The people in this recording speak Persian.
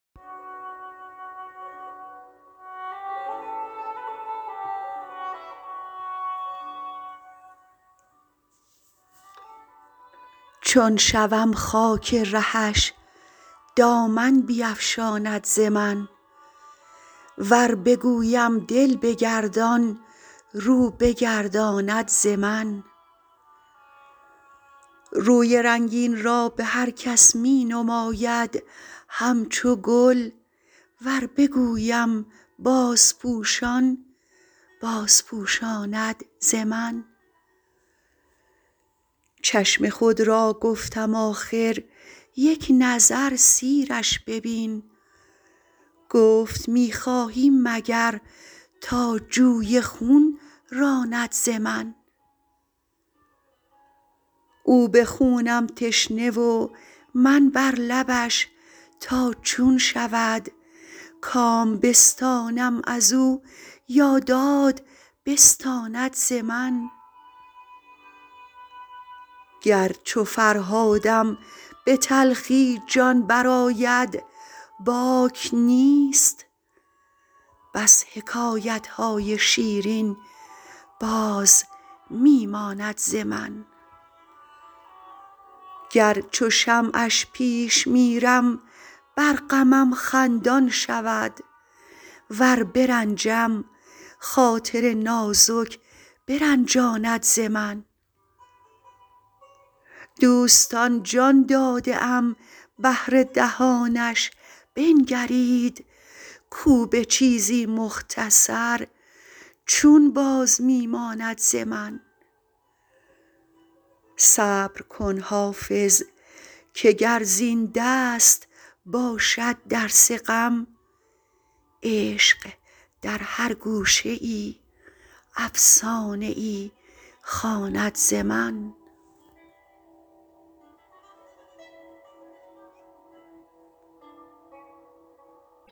چون شوم خاک رهش دامن بیفشاند ز من ور بگویم دل بگردان رو بگرداند ز من روی رنگین را به هر کس می نماید همچو گل ور بگویم بازپوشان بازپوشاند ز من چشم خود را گفتم آخر یک نظر سیرش ببین گفت می خواهی مگر تا جوی خون راند ز من او به خونم تشنه و من بر لبش تا چون شود کام بستانم از او یا داد بستاند ز من گر چو فرهادم به تلخی جان برآید باک نیست بس حکایت های شیرین باز می ماند ز من گر چو شمعش پیش میرم بر غمم خندان شود ور برنجم خاطر نازک برنجاند ز من دوستان جان داده ام بهر دهانش بنگرید کو به چیزی مختصر چون باز می ماند ز من صبر کن حافظ که گر زین دست باشد درس غم عشق در هر گوشه ای افسانه ای خواند ز من